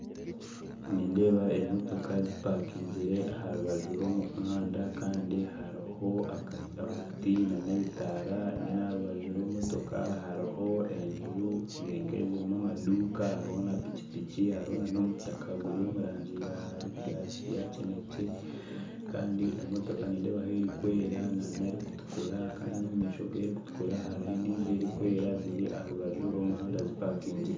Nindeeba emotoka zipakingire aharubaju rwomuhanda Kandi hariho omuti nanebitaara retro aharubaju rw'emotoka hariho enju zirinka ezirimu amaduka hariho na pikipiki hariho nanomutaka gurwomurangi yakinekye Kandi emotoka nidebaho erikwera n'erikutukura Kandi omumaisho gerikutukura hariho endiijo erikutukura ziri aharubaj rwomuhanda zipakingire